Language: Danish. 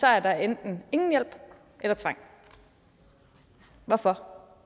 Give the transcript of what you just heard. er der enten ingen hjælp eller tvang hvorfor